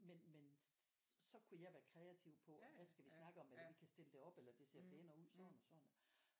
Men men så kunne jeg være kreativ på hvad skal vi snakke om hvordan vi kan stille det op eller det ser pænere ud sådan og sådan